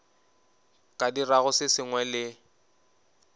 ka dirago se sengwe le